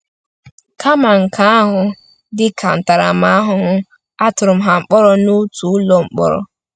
Kama nke ahụ, dị ka ntaramahụhụ, a tụrụ ha mkpọrọ n’otu ụlọ mkpọrọ.